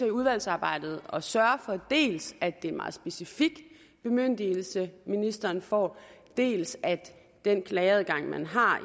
udvalgsarbejdet at sørge for dels at det er en meget specifik bemyndigelse ministeren får dels at den klageadgang man har